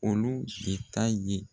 Olu de ta ye.